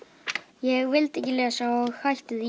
ég vildi ekki lesa og hætti því